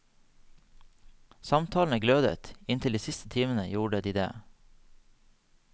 Samtalene glødet, inntil de siste timene gjorde de det.